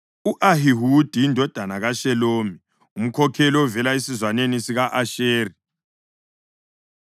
u-Ahihudi indodana kaShelomi, umkhokheli ovela esizwaneni sika-Asheri;